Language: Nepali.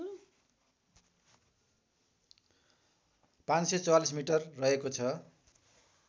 ५४४ मिटर रहेको छ